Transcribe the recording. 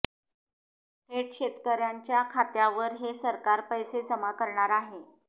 थेट शेतकऱ्यांच्या खात्यावर हे सरकार पैसे जमा करणार आहे